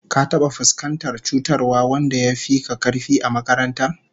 Ka taba fuskantar cutarwar wanda yafi ka karfi a makaranta?